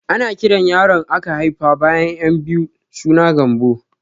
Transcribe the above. Ana kiran yaron aka haifa bayan ƴan biyu suna Gambo